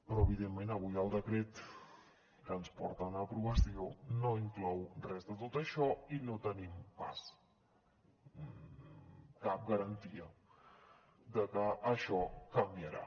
però evidentment avui el decret que ens porten a aprovació no inclou res de tot això i no tenim pas cap garantia de que això canviarà